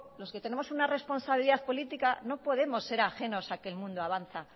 los que tenemos una responsabilidad políticas no podemos ser ajenos a que el mundo avanza